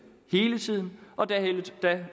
hele tiden